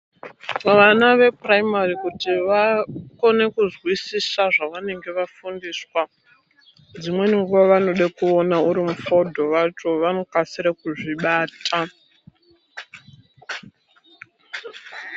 Kuvana vupuraimari kuti vakone kuzwizisiswa zvavanenge vafundiswa dzimweni nguwa vanoda kuona uri mufodho wacho vanokasira kuzvibata.